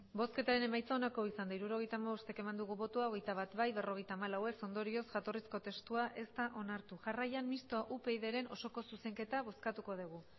hirurogeita hamabost eman dugu bozka hogeita bat bai berrogeita hamalau ez ondorioz jatorrizko testua ez da onartu jarraian mistoa upydren osoko zuzenketa bozkatuko degu